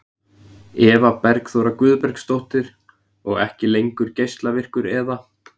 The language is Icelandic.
Eva Bergþóra Guðbergsdóttir: Og ekki lengur geislavirkur eða?